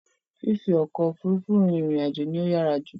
Fífi ọkọ̀ Òfurufú rin ìrìn àjò ló yàrá jù